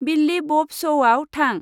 बिल्लि ब'ब शौआव थां।